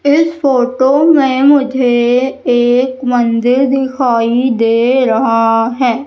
इस फोटो में मुझे एक मंदिर दिखाई दे रहा है।